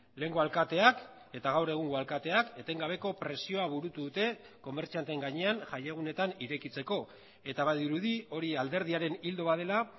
lehengo alkateak eta gaur egungo alkateak etengabeko presioa burutu dute komertzianteen gainean jai egunetan irekitzeko eta badirudi hori alderdiaren ildo bat dela